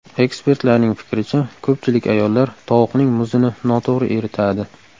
Ekspertlarning fikricha, ko‘pchilik ayollar tovuqning muzini noto‘g‘ri eritadi.